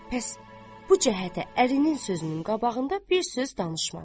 Pəs bu cəhətə ərinin sözünün qabağında bir söz danışmadı.